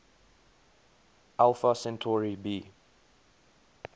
alpha centauri b